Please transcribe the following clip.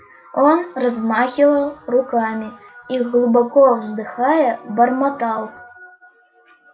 он размахивал руками и глубоко вздыхая бормотал